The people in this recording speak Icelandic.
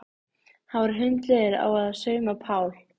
Hann var hundleiður á að sauma Pál.